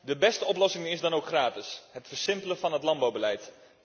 De beste oplossing is dan ook gratis het versimpelen van het landbouwbeleid.